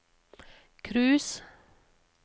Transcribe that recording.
cruise